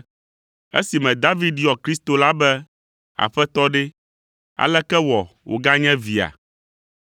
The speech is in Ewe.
Esime David yɔ Kristo la be, ‘Aƒetɔ’ ɖe, aleke wɔ wòganye via?”